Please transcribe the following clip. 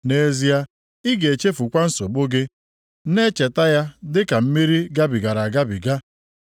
Nʼezie ị ga-echefukwa nsogbu gị, na-echeta ya dịka mmiri gabigara agabiga.